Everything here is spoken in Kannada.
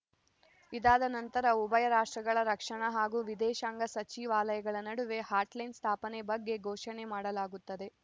ಇದಾದ ನಂತರ ಉಭಯ ರಾಷ್ಟ್ರಗಳ ರಕ್ಷಣಾ ಹಾಗೂ ವಿದೇಶಾಂಗ ಸಚಿವಾಲಯಗಳ ನಡುವೆ ಹಾಟ್‌ಲೈನ್‌ ಸ್ಥಾಪನೆ ಬಗ್ಗೆ ಘೋಷಣೆ ಮಾಡಲಾಗುತ್ತದೆ